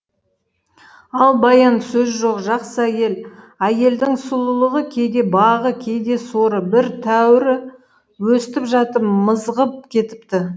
ал баян сөз жоқ жақсы әйел әйелдің сұлулығы кейде бағы кейде соры бір тәуірі өстіп жатып мызғып кетіпті